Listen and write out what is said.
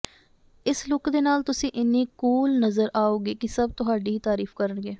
ਇਸ ਲੁੱਕ ਦੇ ਨਾਲ ਤੁਸੀਂ ਇੰਨੀ ਕੂਲ ਨਜ਼ਰ ਆਓਗੇ ਕਿ ਸਭ ਤੁਹਾਡੀ ਹੀ ਤਾਰੀਫ ਕਰਨਗੇ